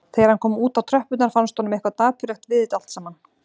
Þegar hann kom út á tröppurnar fannst honum eitthvað dapurlegt við þetta allt saman.